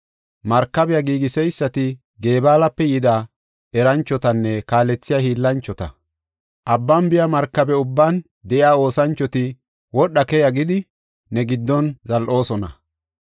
Markabiya giigiseysati Gebaalape yida eranchotanne kaalethiya hiillanchota; abban biya markabe ubban de7iya oosanchoti wodha keya gidi ne giddon zal7oosona.